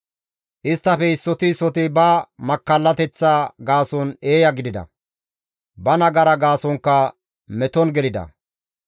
Isttafe issoti issoti ba makkallateththa gaason eeya gidida; ba nagara gaasonkka meton gelida.